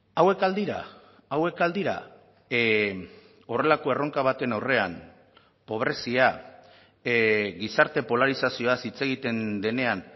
hauek al dira hauek al dira horrelako erronka baten aurrean pobrezia gizarte polarizazioaz hitz egiten denean